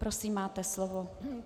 Prosím, máte slovo.